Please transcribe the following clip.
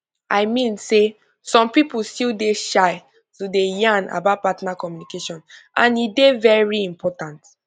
i mean say some people still dey shy to dey yan about partner communication and e dey very important